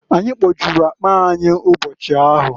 Anyị kpojulu akpa anyị ụbochi ahụ.